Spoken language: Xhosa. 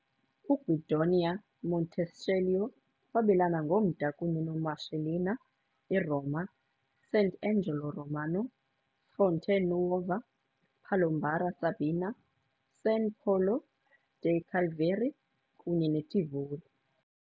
UGuidonia Montecelio wabelana ngomda kunye noMarcellina, iRoma, Sant'Angelo Romano, Fonte Nuova, Palombara Sabina, San Polo dei Cavalieri, kunye neTivoli.